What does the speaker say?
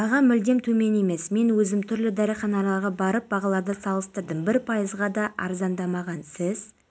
сирия дағдарысы шешу жолында қазақстан да қырғызстан да ешкімнің ықпалына түспейді иә қазіргі кезде аталған екі